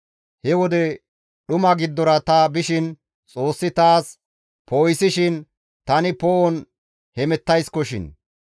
He wode dhuma giddora ta bishin Xoossi taas poo7isishin tani poo7on hemettaysikoshin.